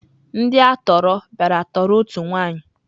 Ndị a tọọrọ bịara tọọrọ otu nwaanyị.